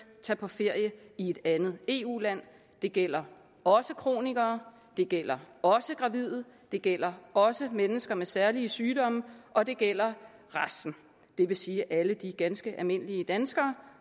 tage på ferie i et andet eu land det gælder også kronikere det gælder også gravide det gælder også mennesker med særlige sygdomme og det gælder resten det vil sige alle de ganske almindelige danskere